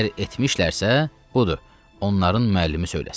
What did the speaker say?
Əgər etmişlərsə, budur, onların müəllimi söyləsin.